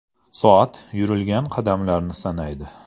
Soat yurilgan qadamlarni sanaydi.